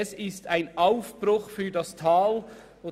«Es ist ein Aufbruch für das Tal.»